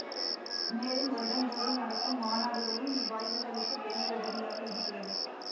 மேலும் வருடந்தோரும் நடக்கும் மாநாடுகளும் இவ்வாய்வுகளுக்கு பெரிய உதவியாக இருக்கிறது